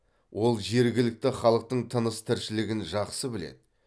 ол жергілікті халықтың тыныс тіршілігін жақсы біледі